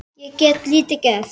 Ég get lítið gert.